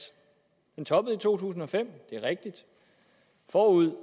den toppede i to tusind og fem det er rigtigt forud